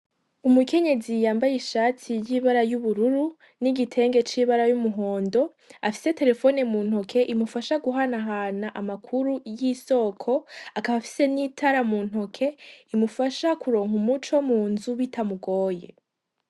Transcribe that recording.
Umukenyezi yambaye ishati y'ibara ry'ubururu n'igitenge cibara ry'umuhondo afise telephone muntoke imufasha guhanahana amakuru y'isoko akaba afise n'itara muntoke rimufasha kuronka umuco munzu bitamugoye.